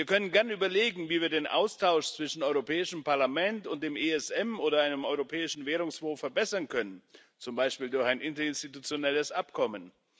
Wir können gern überlegen, wie wir den Austausch zwischen Europäischem Parlament und dem ESM oder einem europäischen Währungsfonds verbessern können, zum Beispiel durch ein interinstitutionelles Abkommen.